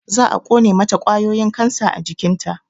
Za a ƙone mata ƙwayoyin kansa a jikinta